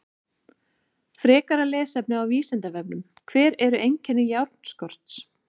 Frekara lesefni á Vísindavefnum: Hver eru einkenni járnskorts?